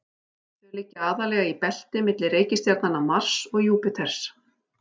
Þau liggja aðallega í belti milli reikistjarnanna Mars og Júpíters.